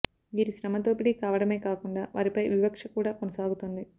వీరి శ్రమ దోపిడీ కావడమే కాకుండా వారిపై వివక్ష కూడా కొనసాగుతోంది